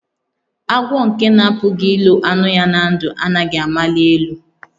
Agwọ nke na-apụghị ilo anụ ya na ndụ, anaghị amali elu